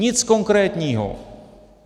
Nic konkrétního.